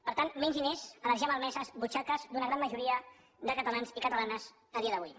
per tant menys diners a les ja malmeses butxaques d’una gran majoria de catalans i catalanes a dia d’avui